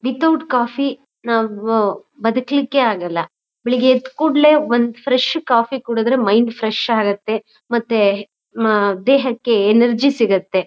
Without coffee ನಾವು ಬದುಕ್ಲಿಕ್ಕೆ ಆಗಲ್ಲ. ಬೆಳಿಗ್ಗೆ ಎದ್ದ್ ಕೂಡ್ಲೇ ಒಂದು ಫ್ರೆಶ್ ಕಾಫಿ ಕುಡಿದ್ರೆ ಮೈಂಡ್ ಫ್ರೆಶ್ ಆಗತ್ತೆ ಮತ್ತೆ ಹಾ ದೇಹಕ್ಕೆ ಎನರ್ಜಿ ಸಿಗತ್ತೆ.